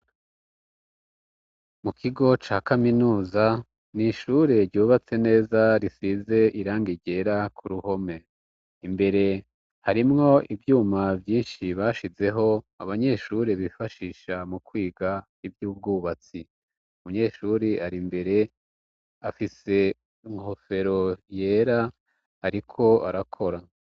Mu kigo ca kaminuza n'ishure ryubatse neza risize irangi ryera ku ruhome, imbere harimwo ivyuma vyinshi bashizeho abanyeshuri bifashisha mu kwiga ivy'ubwubatsi, umunyeshuri ar'imbere afise inkofero yera ariko arakora